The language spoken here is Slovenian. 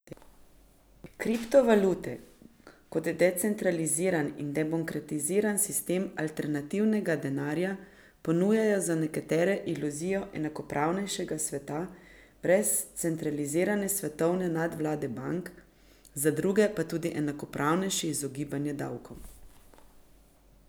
Kriptovalute kot decentraliziran in demokratiziran sistem alternativnega denarja ponujajo za nekatere iluzijo enakopravnejšega sveta brez centralizirane svetovne nadvlade bank, za druge pa tudi enakopravnejše izogibanje davkom.